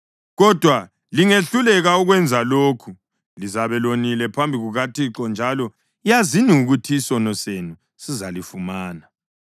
Kodwa lingehluleka ukwenza lokhu, lizabe lonile phambi kukaThixo; njalo yazini ukuthi isono senu sizalifumana.